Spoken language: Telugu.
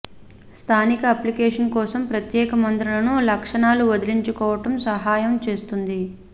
స్థానిక అప్లికేషన్ కోసం ప్రత్యేక మందులను లక్షణాలు వదిలించుకోవటం సహాయం చేస్తుంది